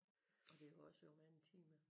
Og det er også jo mange timer